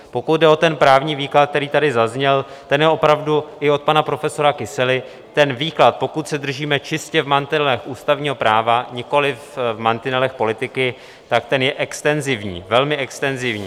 Pokud jde o ten právní výklad, který tady zazněl, ten je opravdu - i od pana profesora Kysely - ten výklad, pokud se držíme čistě v mantinelech ústavního práva, nikoli v mantinelech politiky, tak ten je extenzivní, velmi extenzivní.